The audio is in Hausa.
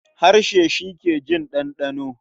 Harshe shi ke jin ɗanɗano.